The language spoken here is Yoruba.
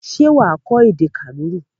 Ṣé wà á kọ́ èdè Kànúrì?